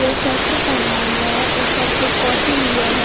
जो स्वेटर पहना हुआ है और सर पर टॉपी लिया है।